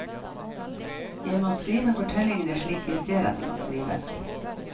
Jeg må skrive fortellingene slik jeg ser at de må skrives.